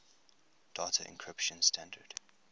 data encryption standard